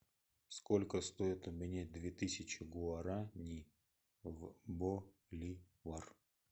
сколько стоит обменять две тысячи гуарани в боливар